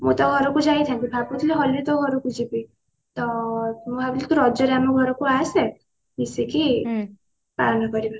ମୁଁ ତୋ ଘରକୁ ଯାଇଥାନ୍ତି ଭାବୁଥିଲି ହୋଲି ରେ ତୋ ଘରକୁ ଯିବି ତ ମୁଁ ଭାବିଲି ତୁ ରଜ ରେ ଆମ ଘରକୁ ଆସେ ମିସିକି ପାଳନ କରିବା